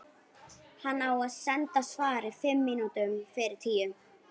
Hann á að senda svarið fimm mínútum fyrir tíu.